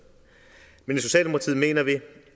men